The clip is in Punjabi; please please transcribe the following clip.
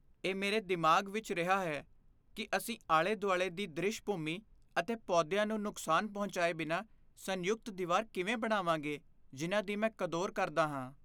ਇਹ ਮੇਰੇ ਦਿਮਾਗ਼ ਵਿੱਚ ਰਿਹਾ ਹੈ ਕੀ ਅਸੀਂ ਆਲੇ ਦੁਆਲੇ ਦੀ ਦ੍ਰਿਸ਼ ਭੂਮੀ ਅਤੇ ਪੌਦਿਆ ਨੂੰ ਨੁਕਸਾਨ ਪਹੁੰਚਾਏ ਬਿਨਾਂ ਸੰਯੁਕਤ ਦੀਵਾਰ ਕਿਵੇਂ ਬਣਾਵਾਂਗੇ ਜਿਨ੍ਹਾਂ ਦੀ ਮੈਂ ਕਦੋਂਰ ਕਰਦਾ ਹਾਂ